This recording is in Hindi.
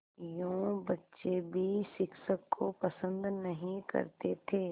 यूँ बच्चे भी शिक्षक को पसंद नहीं करते थे